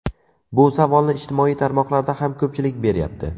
Bu savolni ijtimoiy tarmoqlarda ham ko‘pchilik beryapti.